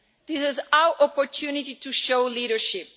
This is our opportunity to show leadership.